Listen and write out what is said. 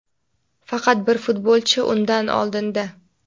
Faqat bir futbolchi undan oldinda.